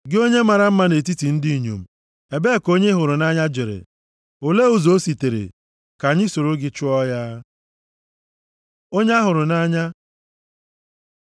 Gị onye mara mma nʼetiti ndị inyom, ebee ka onye ị hụrụ nʼanya jere? Olee ụzọ o sitere? Ka anyị soro gị chọọ ya. Onye a hụrụ nʼanya